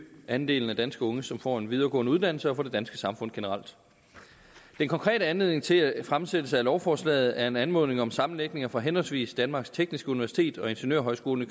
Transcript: andelen af danske unge som får en videregående uddannelse og for det danske samfund generelt den konkrete anledning til fremsættelsen af lovforslaget er en anmodning om sammenlægninger fra henholdsvis danmarks tekniske universitet og ingeniørhøjskolen i